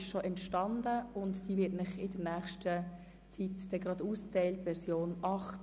Die Version 8 wird Ihnen demnächst ausgeteilt.